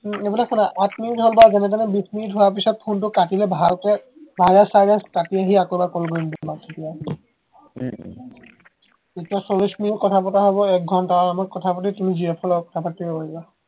উম এইফালে শুনা আঠ মিনিট হল বাৰু যেনেতেনে বিছ মিনিট হোৱাৰ পাছত ফোনটো কাটিলে ভালকৈ ভাইৰাছ চাইৰাছ কাটি আহি আকৌ এবাৰ call কৰিম দিয়া তোমাক তেতিয়া উম উম তেতিয়া চল্লিশ মিনিট কথা পতা হব এক ঘন্টা আৰামত কথা পাতি তুমি GF ৰ লগত কথা পাতিব পাৰিবা